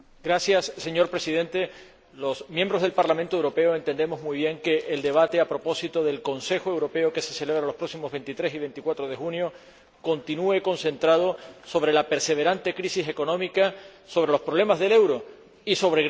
Señor Presidente, los diputados al Parlamento Europeo entendemos muy bien que el debate, a propósito del Consejo Europeo que se celebrará los próximos 23 y 24 de junio, continúe concentrado en la perseverante crisis económica, en los problemas del euro y en Grecia.